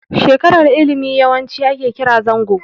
Shekarar ilimi yawanci ake kira zango.